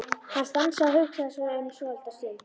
Hann stansaði og hugsaði sig um svolitla stund.